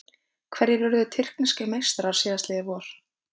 Hverjir urðu tyrkneskir meistarar síðastliðið vor?